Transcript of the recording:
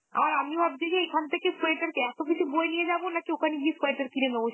আর আমি ভাবছি যে এখান থেকে sweater কে এত কিছু বয়ে নিয়ে যাব নাকি ওখান গিয়ে sweater কিনে নেব, সেটাই ভাবছি?